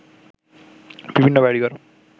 বিভিন্ন বাড়িঘর